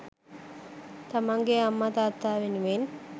තමන්ගේ අම්මා, තාත්තා වෙනුවෙන්